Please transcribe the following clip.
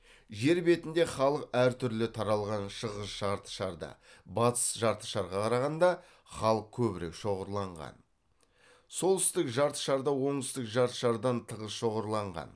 жер бетінде халық әр түрлі таралған шығыс жарты шарда батыс жартышарға қарағанда халық көбірек шоғырланған солтүстік жартышарда оңтүстік жартышардан тығыз шоғырланған